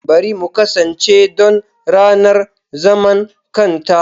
Bari mu kasance don ranar zaman kanta!